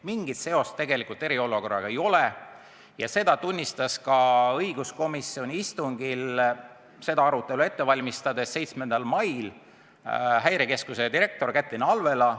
Mingit seost tegelikult eriolukorraga ei ole ja seda tunnistas õiguskomisjoni 7. mai istungil seda arutelu ette valmistades ka Häirekeskuse direktor Kätlin Alvela.